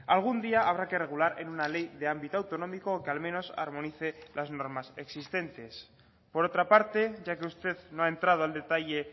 algún día habrá que regular en una ley de ámbito autonómico que al menos armonice las normas existentes por otra parte ya que usted no ha entrado al detalle